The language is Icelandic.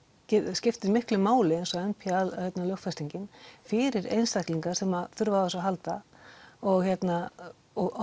skiptir miklu máli eins og n p a lögfestingin fyrir einstaklinga sem þurfa á þessu að halda og og